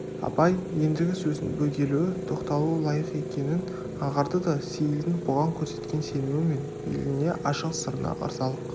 абай ендігі сөздің бөгелуі тоқталуы лайық екенін аңғарды да сейілдің бұған көрсеткен сенімі мен бейіліне ашық сырына ырзалық